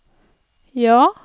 ja